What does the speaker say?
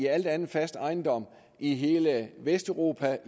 al anden fast ejendom i hele vesteuropa og